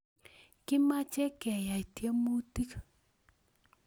Kimache keyai tiemutik